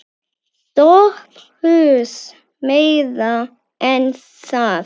SOPHUS: Meira en það.